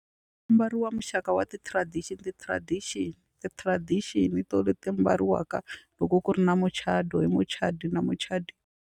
Ku ambariwa muxaka wa ti-tradition ti-tradition ti-tradition hi to leti ambariwaka loko ku ri na muchato hi muchadi na muchadi.